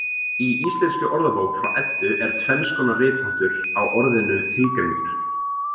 Í Íslenskri orðabók frá Eddu er tvenns konar ritháttur á orðinu tilgreindur.